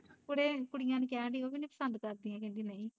ਮੈਂ ਕਿਹਾ ਕੁੜੀਆਂ ਨੂੰ ਕਹਿਣ ਡਈ ਸੀ ਉਹ ਵੀ ਨੀ ਪਸੰਦ ਕਰਦੀਆਂ ਕਹਿੰਦੀਆ ਨਹੀਂ